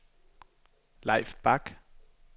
Leif Bak